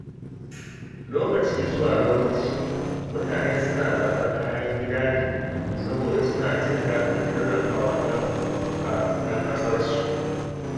Lokaci zuwa lokaci, mutane suna zaɓar kayan gida ne saboda suna jin daɗin tallafa wa ‘yan ƙasarsu.